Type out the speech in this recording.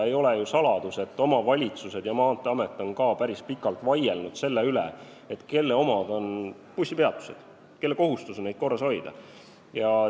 Ei ole ju saladus, et omavalitsused ja Maanteeamet on päris pikalt vaielnud selle üle, kelle omad on bussipeatused ehk kelle kohustus on neid korras hoida.